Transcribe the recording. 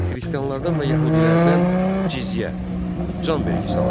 Xristianlardan və yəhudilərdən ciziyə, can vergisi alınırdı.